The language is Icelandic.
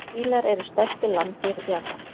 Fílar eru stærstu landdýr jarðar.